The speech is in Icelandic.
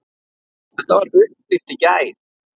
Þetta var upplýst í gær.